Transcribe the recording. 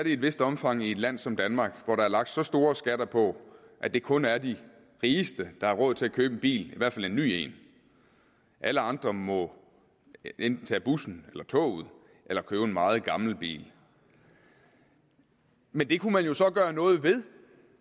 i et vist omfang i et land som danmark hvor der er lagt så stor skatter på at det kun er de rigeste der har råd til at købe en bil i hvert fald en ny bil alle andre må enten tage bussen eller toget eller købe en meget gammel bil men det kunne man jo så gøre noget ved